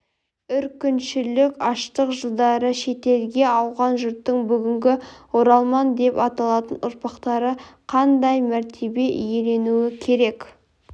үркіншілік аштық жылдары шетелге ауған жұрттың бүгінгі оралман деп аталатын ұрпақтары қандай мәртебе иеленуі керек